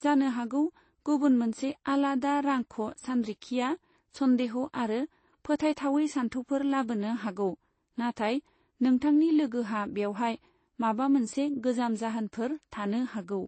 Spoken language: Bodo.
जानो हागौ गुबुन मोनसे आलादा रांख' सानरिखिया सन्देह' आरो फोथाइथावै सानथौफोर लाबोनो हागौ, नाथाय नोंथांनि लोगोहा बेवहाय माबा मोनसे गाहाम जाहोनफोर थानो हागौ।